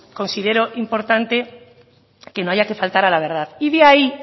considero importante que no haya que faltar a la verdad y de ahí